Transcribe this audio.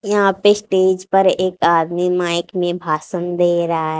यहां पे स्टेज पर एक आदमी माइक में भाषन दे रहा है।